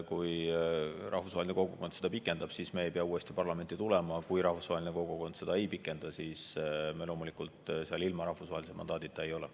Kui rahvusvaheline kogukond seda pikendab, siis me ei pea uuesti parlamenti tulema, kui rahvusvaheline kogukond seda ei pikenda, siis me loomulikult seal ilma rahvusvahelise mandaadita ei ole.